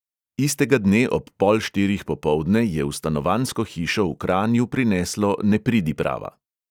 Istega dne ob pol štirih popoldne je v stanovanjsko hišo v kranju prineslo nepridiprava.